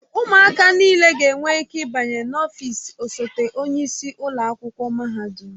Ụmụaka niile ga-enwe ike ịbanye n'ọfịs osote onye isi ụlọ akwụkwọ mahadum.